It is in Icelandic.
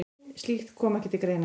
Slíkt komi ekki til greina.